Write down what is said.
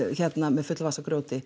með fulla vasa af grjóti